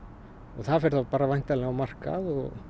það fer væntanlega á markað